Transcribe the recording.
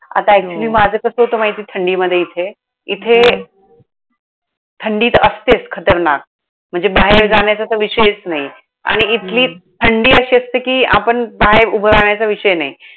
आता हम्म actually माझं कसं होतं माहितीये थंडीमध्ये इथे, इथे थंडी तर असतेच खतरनाक. म्हणजे बाहेर जाण्याचा तर विषयच नाही. हम्म आणि इथली थंडी अशी असते कि, आपण बाहेर उभं राहण्याचा विषय नाही.